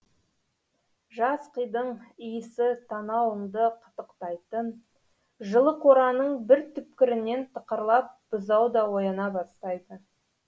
жас қидың иісі танауыңды қытықтайтын жылы қораның бір түкпірінен тықырлап бұзау да ояна бастайды